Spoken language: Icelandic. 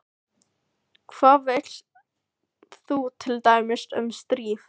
Hvað veist þú til dæmis um stríð?